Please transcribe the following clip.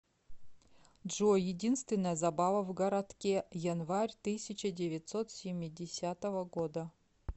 джой единственная забава в городке январь тысяча девятьсот семидесятого года